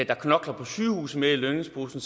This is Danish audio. der knokler på sygehuset mere i lønningsposen